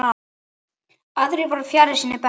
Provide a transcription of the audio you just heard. Aðrir voru fjarri sínu besta.